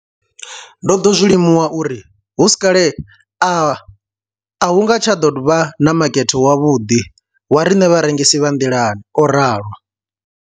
Ndo ḓo zwi limuwa uri hu si kale a hu nga tsha ḓo vha na makete wavhuḓi wa riṋe vharengisi vha nḓilani, o ralo.